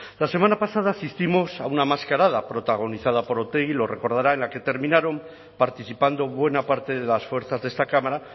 la semana pasada asistimos a una mascarada protagonizada por otegi lo recordará en la que terminaron participando buena parte de las fuerzas de esta cámara